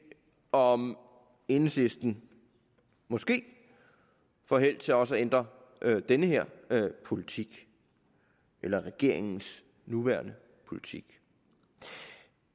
om enhedslisten måske får held til også at ændre den her politik eller regeringens nuværende politik